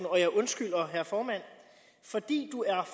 og jeg undskylder herre formand fordi du er